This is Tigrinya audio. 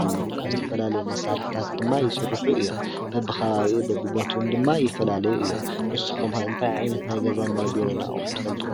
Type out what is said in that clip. ኣለዉ ካብዝተፈላለ መሣራሕታት ድማ ይሥርኁ እዮም። በብኸባብ ብቦቦቱን ድማ ይፈላልዩ እዮም ንሱኾምእንቲ ዒይንት ናይገዛን ናይ ቢሮን ኣቝሑ ትፈልጡ?